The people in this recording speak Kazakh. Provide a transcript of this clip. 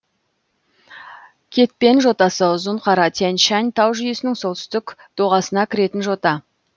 кетпен жотасы ұзынқара тянь шань тау жүйесінің солтүстік доғасына кіретін жота